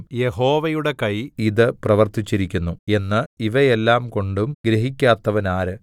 യഹോവയുടെ കൈ ഇത് പ്രർത്തിച്ചിരിക്കുന്നു എന്ന് ഇവയെല്ലാംകൊണ്ടും ഗ്രഹിക്കാത്തവനാര്